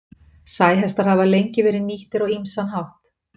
Sæhestar hafa lengi verið nýttir á ýmsan hátt.